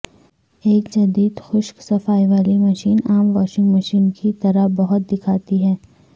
ایک جدید خشک صفائی والی مشین عام واشنگ مشین کی طرح بہت دکھاتی ہے